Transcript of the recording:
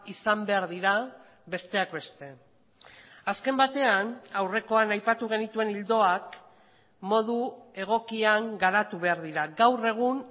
izan behar dira besteak beste azken batean aurrekoan aipatu genituen ildoak modu egokian garatu behar dira gaur egun